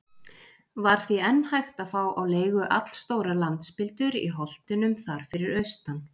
Var því enn hægt að fá á leigu allstórar landspildur í holtunum þar fyrir austan.